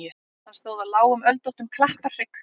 Hann stóð á lágum öldóttum klapparhrygg.